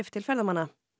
til ferðamanna